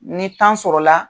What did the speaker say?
Ni sɔrɔ la.